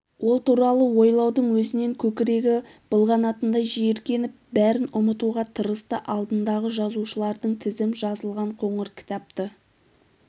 ол туралы ойлаудың өзінен көкірегі былғанатындай жиіркеніп бәрін ұмытуға тырысты алдындағы жазушылардың тізім жазылған қоңыр кітапты